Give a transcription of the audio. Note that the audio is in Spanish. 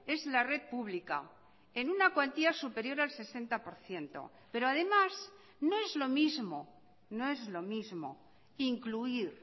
es la red pública en una cuantía superior al sesenta por ciento pero además no es lo mismo no es lo mismo incluir